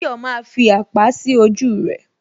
Tayọ maaa fi àpá sí ojú rẹ